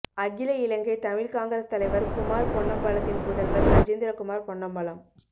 அகில இலங்கை தமிழ் காங்கிரஸ் தலைவர் குமார் பொன்னம்பலத்தின் புதல்வர் கஜேந்திரகுமார் பொன்னம்பலம்